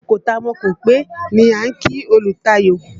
Mo kọ́ta mo kópè ni a ń kí olùtayò.